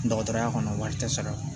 Dɔgɔtɔrɔya kɔnɔ wari tɛ sara